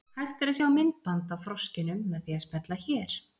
Hægt er að sjá myndband af froskinum með því að smella hér.